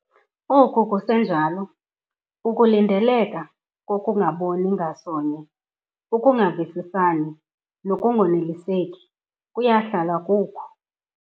Oku kusenjalo, ukulindeleka kokungaboni ngasonye, ukungavisisani nokungoneliseki kuya kuhlala kukho.